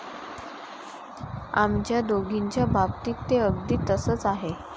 आमच्या दोघींच्या बाबतीत ते अगदी तसंच आहे.